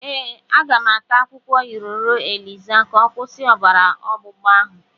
Ee, aga m ata akwukwo iroro eliza ka ọ kwusi obara ọgbụgba ahụ.